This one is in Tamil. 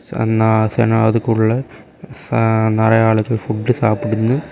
சன்னா சன அதுக்குள்ள ச நெறைய ஆளுங்க ஃபுட் சாப்பிடுன்னு.